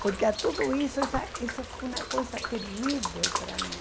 Porque a tudo isso, sabe, isso foi uma coisa terrível para mim.